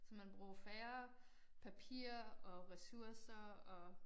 Så man bruger jo færre papir og ressourcer og